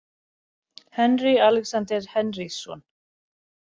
Henry Alexander Henrysson.